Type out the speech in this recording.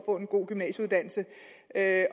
at